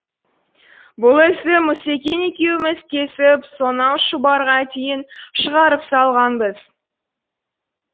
бұл ізді мүсекең екеуміз кесіп сонау шұбарға дейін шығарып салғанбыз